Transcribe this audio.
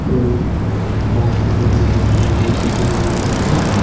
இது பிளான்ட்ஸ்க்கு தேவையான தண்ணிகள் தொட்டிகள்ல இருக்கு.